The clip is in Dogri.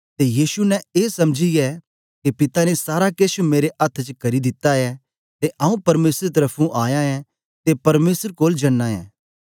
ते यीशु ने ए समझीयै के पिता ने सारा केछ मेरे अथ्थ च करी दिता ऐ ते आऊँ परमेसर त्र्फुं आया ऐं ते परमेसर कोल जनां ऐं